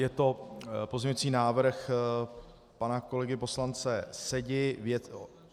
Je to pozměňující návrh pana kolegy poslance Sedi.